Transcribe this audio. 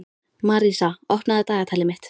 Marísa, opnaðu dagatalið mitt.